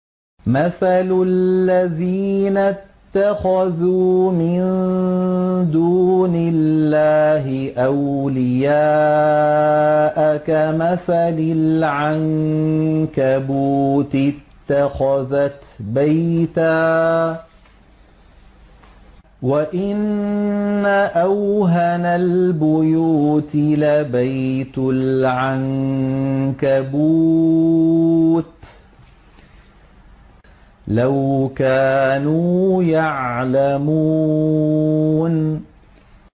مَثَلُ الَّذِينَ اتَّخَذُوا مِن دُونِ اللَّهِ أَوْلِيَاءَ كَمَثَلِ الْعَنكَبُوتِ اتَّخَذَتْ بَيْتًا ۖ وَإِنَّ أَوْهَنَ الْبُيُوتِ لَبَيْتُ الْعَنكَبُوتِ ۖ لَوْ كَانُوا يَعْلَمُونَ